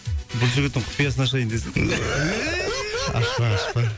бұл жігіттің құпиясын ашайын десем ашпа ашпа